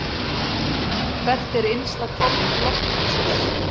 Hvert er innsta hvolf lofthjúpsins?